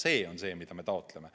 See on see, mida me taotleme.